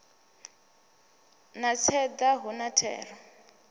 na tseda hu na thero